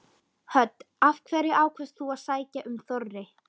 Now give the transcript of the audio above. Hödd: Af hverju ákvaðst þú að sækja um Þorri?